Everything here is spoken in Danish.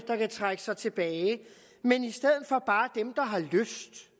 der kan trække sig tilbage men i stedet for bare dem der har lyst